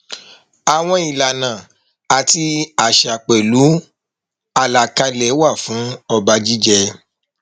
àwọn ìlànà àti àṣà pẹlú àlàkálẹ wà fún ọba jíjẹ